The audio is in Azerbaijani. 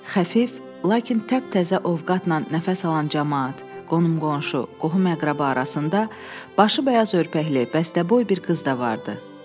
Xəfif, lakin təptəzə ovqatla nəfəs alan camaat, qonum-qonşu, qohum-əqrəba arasında başı bəyaz örpəkli, bəstəboy bir qız da vardı.